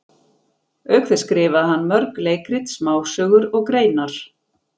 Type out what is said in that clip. Auk þess skrifaði hann mörg leikrit, smásögur og greinar.